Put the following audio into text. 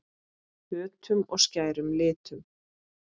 Höttum og skærum litum.